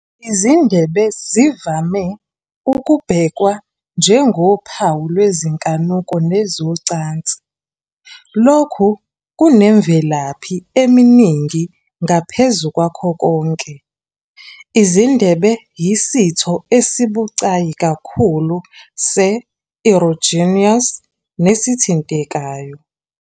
Izindebe zivame ukubhekwa njengophawu lwezinkanuko nezocansi. Lokhu kunemvelaphi eminingi, ngaphezu kwakho konke, izindebe ziyisitho esibucayi kakhulu se-erogenous nesithintekayo.